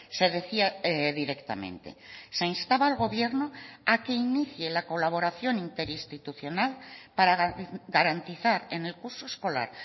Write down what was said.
se decía directamente se instaba al gobierno a que inicie la colaboración interinstitucional para garantizar en el curso escolar